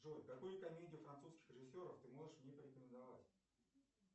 джой какую комедию французских режиссеров ты можешь мне порекомендовать